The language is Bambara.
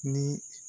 Ni